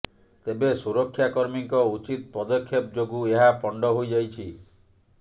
ତେବେ ସୁରକ୍ଷାକର୍ମୀଙ୍କ ଉଚିତ ପଦକ୍ଷେପ ଯୋଗୁ ଏହା ପଣ୍ଡ ହୋଇଯାଇଛି